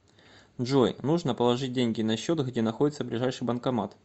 джой нужно положить деньги на счет где находится ближайший банкомат